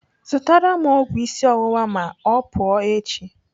Zụtara m ọgwụ isi ọwụwa ma ọ pụọ echi.